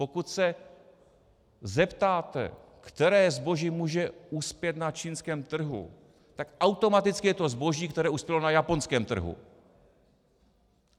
Pokud se zeptáte, které zboží může uspět na čínském trhu, tak automaticky je to zboží, které uspělo na japonském trhu.